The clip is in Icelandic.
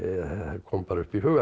kom bara upp í hugann